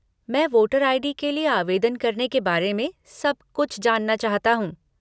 मैं voter ID. के लिए आवेदन करने के बारे में सब कुछ जानना चाहता हूँ।